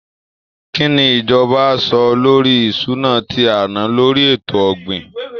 Kí ni ìjọba á sọ lórí ìṣúná tí a ná lórí ètò ọ̀gbìn?